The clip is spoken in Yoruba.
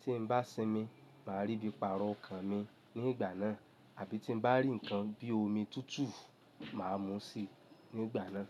Tí n bá sinmi, màá rí bí i paro ọkàn mi ní ìgbà náà, àbí tí n bá rí nǹkan bí omi tútù, màá mú i sì ní ìgbà náà.